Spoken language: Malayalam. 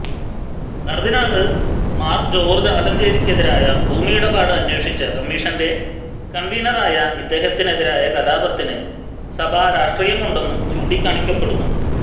കര്ദിനാള് മാര് ജോര്ജ് ആലഞ്ചേരിക്കെതിരായ ഭൂമിയിടപാട് അന്വേഷിച്ച കമ്മിഷന്റെ കണ്വീനറായ ഇദ്ദേഹത്തിനെതിരായ കലാപത്തില് സഭാ രാഷ്ട്രീയമുണ്ടെന്നും ചൂണ്ടിക്കാണിക്കപ്പെടുന്നു